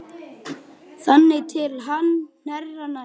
Þangað til hann hnerrar næst.